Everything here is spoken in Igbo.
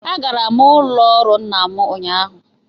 Agara m n'ụlọ ọrụ nna m ụnyahụ